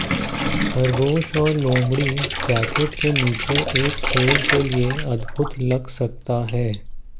खरगोश और लोमड़ी जैकेट के नीचे एक खेल के लिए एक अद्भुत लग सकता है